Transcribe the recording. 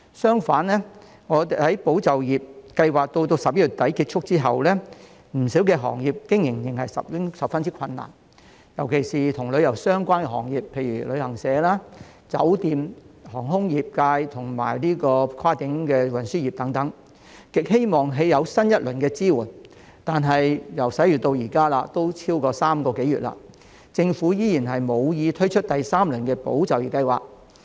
相反，在"保就業"計劃至11月底結束後，不少行業經營仍然十分困難，尤其是旅遊相關行業，例如旅行社、酒店、航空業界和跨境運輸業等，極希望有新一輪支援，但由11月至今已超過3個多月，政府依然無意推出第三輪"保就業"計劃。